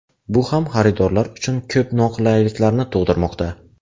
Bu ham xaridorlar uchun ko‘p noqulayliklarni tug‘dirmoqda.